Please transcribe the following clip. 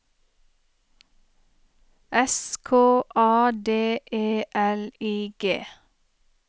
S K A D E L I G